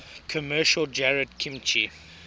commercial jarred kimchi